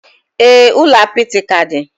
Ee, ụlọ apịtị ka dị